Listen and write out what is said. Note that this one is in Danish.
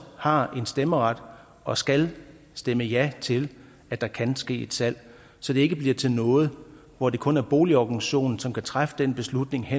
har en stemmeret og skal stemme ja til at der kan ske et salg så det ikke bliver til noget hvor det kun er boligorganisationen som kan træffe den beslutning hen